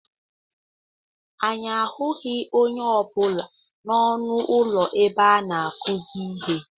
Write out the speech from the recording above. Anyị ahụghị onye ọ bụla n'ọnụ ụlọ ebe a na-akuzi ihe.